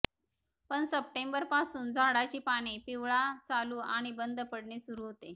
पण सप्टेंबर पासून झाडाची पाने पिवळा चालू आणि बंद पडणे सुरू होते